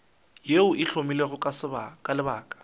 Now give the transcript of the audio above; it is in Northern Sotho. yeo e hlomilwego ka lebaka